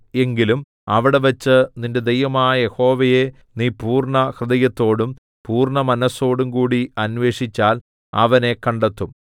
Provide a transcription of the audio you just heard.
എങ്കിലും അവിടെവെച്ച് നിന്റെ ദൈവമായ യഹോവയെ നീ പൂർണ്ണഹൃദയത്തോടും പൂർണ്ണ മനസ്സോടുംകൂടി അന്വേഷിച്ചാൽ അവനെ കണ്ടെത്തും